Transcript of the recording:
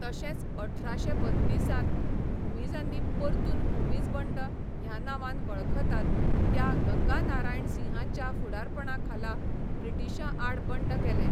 तशेंच अठराशे बत्तिसांत भूमिजांनी परतून भूमिज बंड ह्या नांवान वळखतात त्या गंगानारायणसिंहाच्या फुडारपणाखाला ब्रिटिशांआड बंड केलें.